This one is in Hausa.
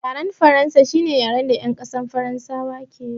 Yaren faransa shine yaren da yan ƙasar faransa ke yi